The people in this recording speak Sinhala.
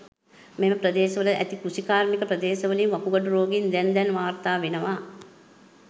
මෙම ප්‍රදේශවල ඇති කෘෂිකාර්මික ප්‍රදේශ වලින් වකුගඩු රෝගීන් දැන් දැන් වාර්තා වෙනවා.